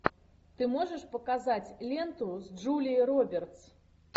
ты можешь показать ленту с джулией робертс